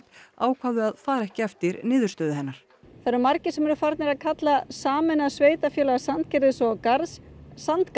ákváðu að fara ekki eftir niðurstöðu hennar það eru margir sem eru farnir að kalla sameinaða sveitarfélag Sandgerðis og Garðs